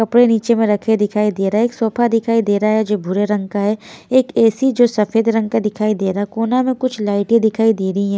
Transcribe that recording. कपड़े नीचे में रखे दिखाई दे रहा है एक सोफा दिखाई दे रहा है जो भूरे रंग का है एक ए_सी जो सफेद रंग का दिखाई दे रहा है कोना में कुछ लाइटें दिखाई दे रही हैं।